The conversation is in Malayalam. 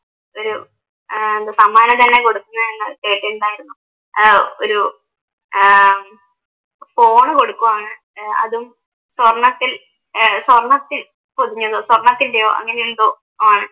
ഒര ആഹ് എന്താ സമ്മാനം തന്നെ കൊടുക്കുന്നത് ഞാൻ കേട്ടിരുന്നു ആഹ് ഒരു ആഹ് ഫോണ് കൊടുക്കുകയാണ് അതും സ്വർണ്ണത്തിൽ ആഹ് സ്വർണ്ണത്തിൽ പൊതിഞ്ഞത് സ്വർണത്തിന്റെയോ അങ്ങനെ എന്തോ ആണ്